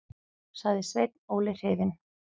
sagði Sveinn Óli hrifinn.